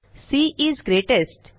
C is greatest